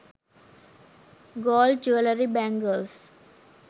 gold jewellery bangals